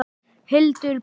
Hildur Björg.